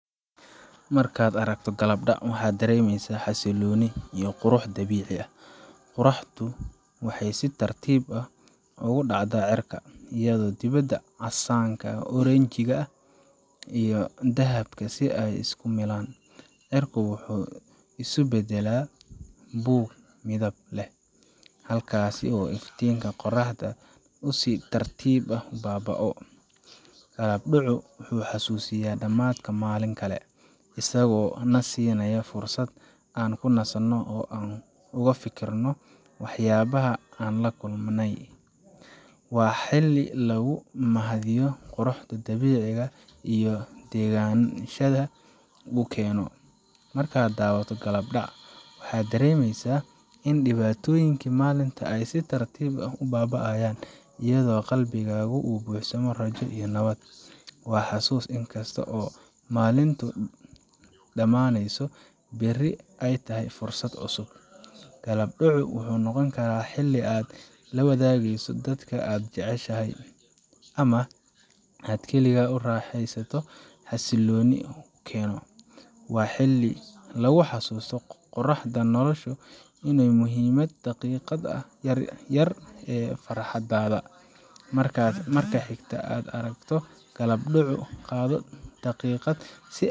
Markaad aragto gabbaldhac, waxaad dareemaysaa xasillooni iyo qurux dabiici ah. Qorraxdu waxay si tartiib ah ugu dhacdaa cirka, iyadoo midabada casaanka, oranjiiga, iyo dahabka ah ay isku milmaan. Cirka wuxuu isu beddelaa buug midab leh, halkaas oo iftiinka qorraxda uu si tartiib ah u baaba'o. Gabbaldhacu wuxuu xasuusinayaa dhammaadka maalin kale, isagoo na siinaya fursad aan ku nasanno oo aan uga fikirno waxyaabaha aan la kulannay. Waa xilli lagu mahadiyo quruxda dabiiciga ah iyo degenaanshaha uu keeno. Markaad daawato gabbaldhac, waxaad dareemaysaa in dhibaatooyinka maalinta ay si tartiib ah u baaba'ayaan, iyadoo qalbigaagu uu buuxsamo rajo iyo nabad. Waa xusuus in kasta oo maalintu dhammaanayso, berri ay tahay fursad cusub. Gabbaldhacu wuxuu noqon karaa xilli aad la wadaageyso dadka aad jeceshahay, ama aad kaligaa u raaxaysato xasilloonida uu keeno. Waa xilli lagu xasuusto quruxda nolosha iyo muhiimada daqiiqadaha yar yar ee farxadda leh. Marka xigta ee aad aragto gabbaldhac, qaado daqiiqad.